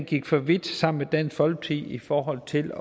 gik for vidt sammen med dansk folkeparti i forhold til